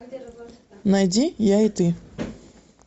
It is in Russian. найди я и ты